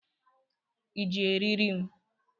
I ji eriri m?